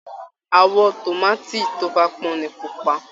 Àwọ̀ tòmáàtì tó bá pọ́n ni pupa